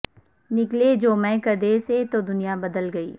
نکلے جو مے کدے سے تو دنیا بدل گئی